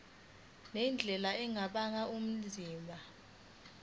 ngendlela engabangela ubunzima